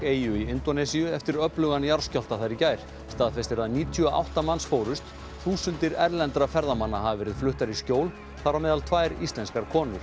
eyju í Indónesíu eftir öflugan jarðskjálfta þar í gær staðfest er að níutíu og átta manns fórust þúsundir erlendra ferðamanna hafa verið fluttar í skjól þar á meðal tvær íslenskar konur